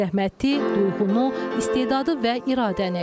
Zəhməti, duyğunu, istedadı və iradəni.